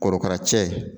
Korokara cɛ